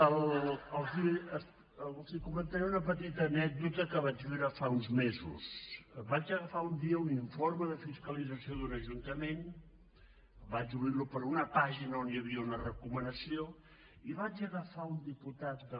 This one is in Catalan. els comentaré una petita anècdota que vaig viure fa uns mesos vaig agafar un dia un informe de fiscalització d’un ajuntament vaig obrir lo per una pàgina on hi havia una recomanació i vaig agafar un diputat de